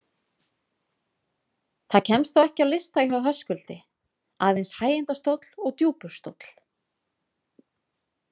Það kemst þó ekki á lista hjá Höskuldi, aðeins hægindastóll og djúpur stóll.